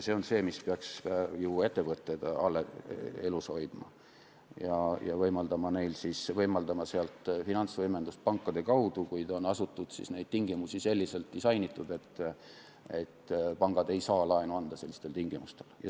See on see, mis peaks ettevõtteid elus hoidma ja võimaldama neile finantsvõimendust pankade kaudu, kuid neid tingimusi on selliselt disainitud, et pangad ei saa sellistel tingimustel laenu anda.